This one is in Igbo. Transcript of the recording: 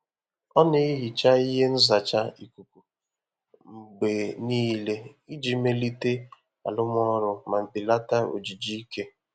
Ọ na-ehicha ihe nzacha ikuku mgbe niile iji melite arụmọrụ ma belata ojiji ike.